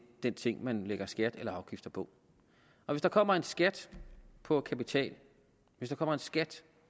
den ting man lægger skat eller afgift på hvis der kommer en skat på kapital hvis der kommer en skat